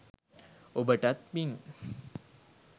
ඔබටත් පිං!